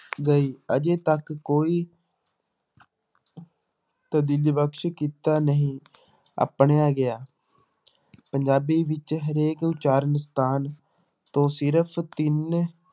ਗਈ ਅਜੇ ਤੱਕ ਕੋਈ ਬਕਸ ਕੀਤਾ ਨਹੀਂ ਆਪਣਿਆ ਗਿਆ ਪੰਜਾਬੀ ਵਿੱਚ ਹਰੇਕ ਉਚਾਰਨ ਸਥਾਨ ਤੋਂ ਸਿਰਫ਼ ਤਿੰਨ